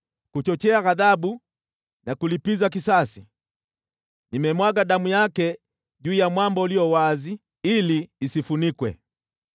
Kuchochea ghadhabu na kulipiza kisasi, nimemwaga damu yake juu ya mwamba ulio wazi, ili isifunikwe.